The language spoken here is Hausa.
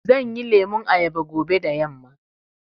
Zanyi lemun ayaba fobe da yamma.